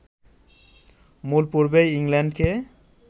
মূল পর্বে ইংল্যান্ডকে